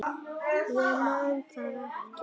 Ég man það ekki.